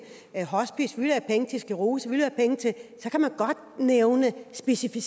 hospice vi vil have penge til sclerose vi vil have penge til så kan man godt nævne specifikke